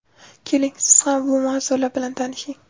Keling, siz ham bu mavzular bilan tanishing.